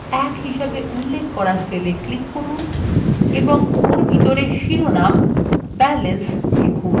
b1হিসেবে উল্লেখ করা cell এ click করুন এবং ওর ভিতরে শিরোনাম balance লিখুন